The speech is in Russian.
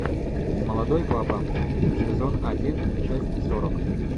молодой папа сезон один часть сорок